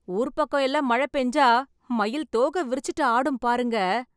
ஊர் பக்கம் எல்லாம் மழை பேஞ்சா மயில் தோகை விரிச்சிட்டு ஆடும் பாருங்க